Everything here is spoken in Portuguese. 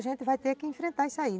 A gente vai ter que enfrentar isso aí.